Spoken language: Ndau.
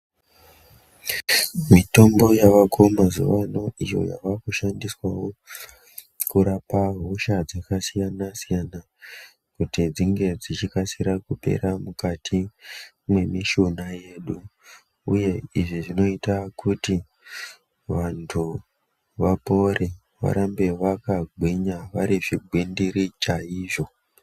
Mitombo yavako mazuvaano iyo yavakushandiswawo kurapa hosha dzakasiyana siyana kuti dzinge dzichikasira kupera mukati mwemishuna yedu uye izvi zvinoita kuti vantu vapore varambe vakagwinya varizvigwindiri chaizvo.